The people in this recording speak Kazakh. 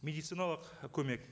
медициналық көмек